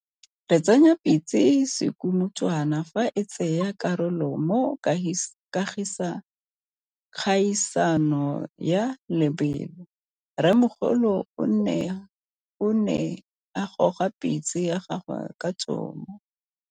Re tsenya pitse sekumutwana fa e tsaya karolo mo kgaisano ya lobelo. Rrêmogolo o ne a gôga pitse ya gagwe ka tômô.